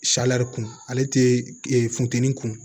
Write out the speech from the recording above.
kun ale tɛ funteni kun